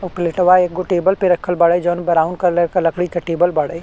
उ पलेटवा एगो टेबल पे रखल बाड़े जउन ब्राउन कलर क लकड़ी के टेबल बाड़े।